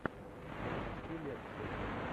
запусти лекцию